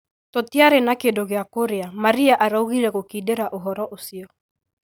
tũtĩrarĩ na kĩndũ gĩa kũrĩa Maria araugĩre gũkĩndĩra ũhoro ũcĩo